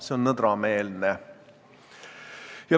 See on nõdrameelne.